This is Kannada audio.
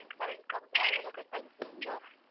ಮೊನ್ನೆ current ಕಂಬ ಅದೆಲ್ಲ cut ಆಗಿತ್ತು ನಮ್ದು.